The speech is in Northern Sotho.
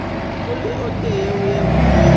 go le o tee yo